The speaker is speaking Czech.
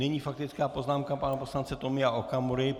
Nyní faktická poznámka pana poslance Tomio Okamury.